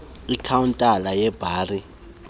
ikhawuntala yebhari ebekwe